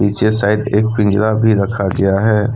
पिछे साइड एक पिंजरा भी रखा गया है।